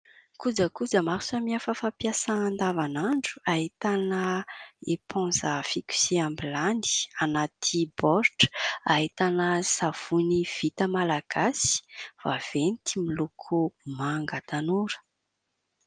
Kojakoja maro samihafa fampiasa andavanandro : ahitana eponza fikoseham-bilany anaty baoritra, ahitana savony vita malagasy vaventy miloko manga tanora.